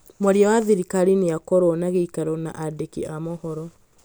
mwaria wa thirikari ni akorwo na giĩkaro na andiki a mohoro.